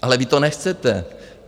Ale vy to nechcete.